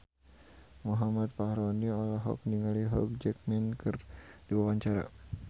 Muhammad Fachroni olohok ningali Hugh Jackman keur diwawancara